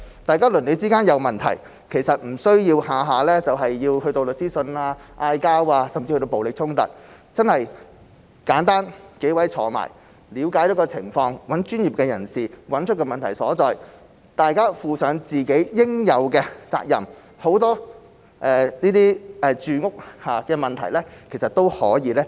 大家鄰里之間有問題，其實不需要每次都去到出律師信、吵架，甚至暴力衝突，大家簡單坐下來了解情況，找專業人士找出問題所在，大家負上自己應有的責任，很多這些住屋相關問題，其實都是可以解決的。